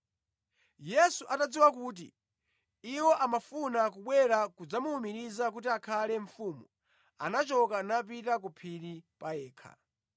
Yesu atadziwa kuti iwo amafuna kubwera kudzamuwumiriza kuti akhale mfumu, anachoka napita ku phiri pa yekha.